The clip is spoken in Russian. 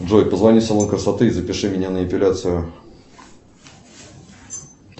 джой позвони в салон красоты и запиши меня на эпиляцию